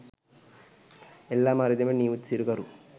එල්ලා මරා දැමීමට නියමිත සිරකරු